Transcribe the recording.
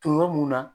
Tonyɔrɔ mun na